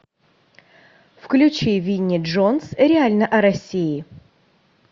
включи винни джонс реально о россии